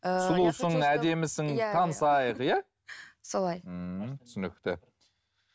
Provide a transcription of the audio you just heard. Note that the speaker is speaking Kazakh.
танысайық иә солай ммм түсінікті